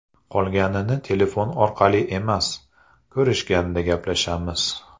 Qolganini telefon orqali emas, ko‘rishganda gaplashamiz.